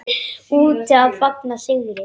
Úti að fagna sigri.